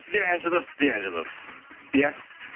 сіз де ән жазасыз сіз де ән жазасыз иә